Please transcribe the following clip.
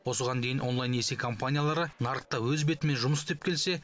осыған дейін онлайн несие компаниялары нарықта өз бетімен жұмыс істеп келсе